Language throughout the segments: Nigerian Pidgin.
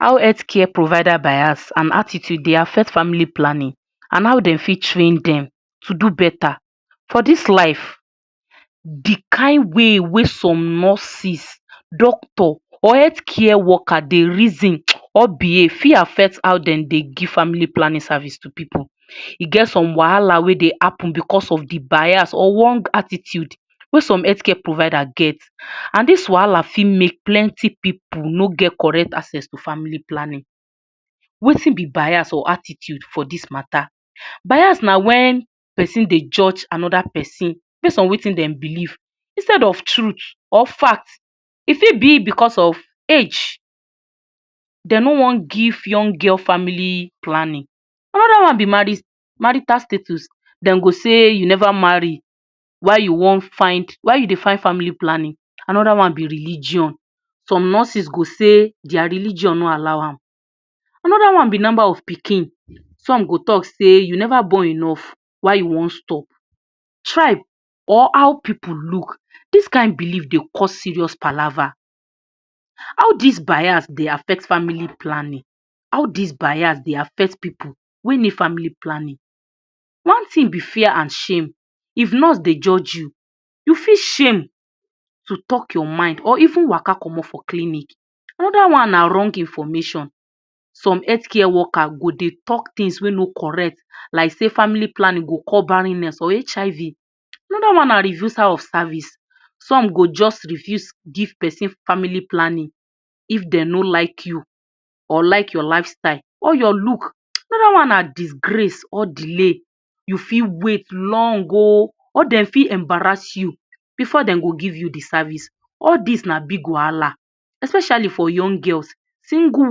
How health care bias and attitude dey affect family planning and dem for train dem to do beta. For dis life de kind way wey some nurses, doctor or health care worker dey reason or behave for affect how dem dey give family Planning to pipu, e get some wahala wey dey happen because of de bias or attitude wey some healthcare provider get and dis wahala for make pipu no get correct access to family planning, Wetin b bias or attitude for dis matter? Bias na wen persin Dey judge another persin based on Wetin dem believe instead of truth or fact, e for b because of age dem no wan give young girl family planning, another one b marital status dem go say u never marry why u wan find, why u dey find family planning, another one b religion, some nurses go say dia religion no allow am, another one b number of pikin, some go talk say I Neva born enough why u wan stop, tribe or how pipu look, dis kind belief dey cause serious palagba, how dis bias dey affect family planning? How did bias dey affect pipu wey need family planning, one thing b fear and shame, if nurse Dey judge you, u for shame to talk your mind or even Waka commot for clinic, another one na wrong information, some health care worker go dey talk things wey no correct like sey family planning go cause barrenness or HIV dat one na reducerof service, some go jus refuse give person family planning if dem no like you or like your lifestyle or your look. Another one na disgrace or delay u fit wait long o or dem fit embarrass u before dem go give u de Service, all dis na big wahala especially for young girls, single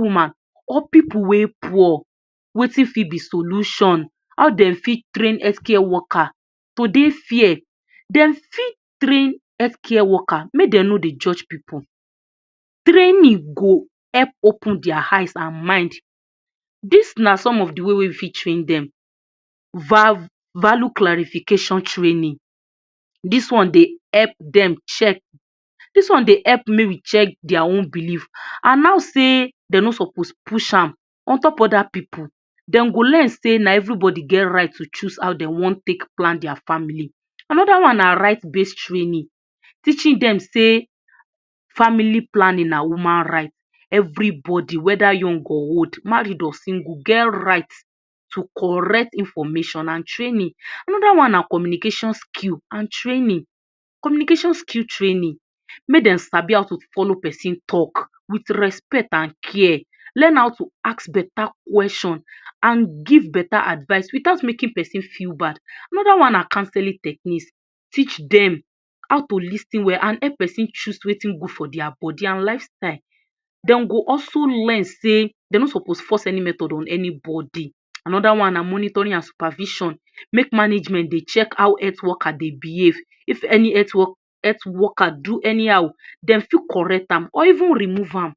woman or pipu wey poor, Wetin fit b solution? How dem fit train healthcare worker to l dey fair, dem fit train healthcare worker make dem no dey judge pipu, training go help open dia eyes and mind, dis na some of d way wey I fit train dem, value clarification training, dis one dey help den check, dos one dey help make we check dia own belief and how Dey dem no suppose push an ontop other pipu, dem go learn sey na everybody get right to choose how dem wan take plan dis family, another one na right based training, teaching dem sey family planning na woman right, everybody weda young or old, married or single dem get right to correct information and training, another one na communication skill and training, communication skill training make dem sabi how to follow persin talk with respect and care, learn how to ask beta question and give beta advice without making persin feel bad, another one na counseling techniques, teach dem how to lis ten well and help persin choose wetin good for dia body and dia lifestyle, dem go also learn sey dem no suppose force any method on top anybody, another one na monitoring and supervision, make management dey check how health worker dey behave, if any health worker do anyhow dem for correct am or even remove am.